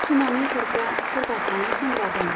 सुनानै हरग्रा सोरबा सानै सेंग्रा दं।